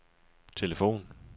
telefon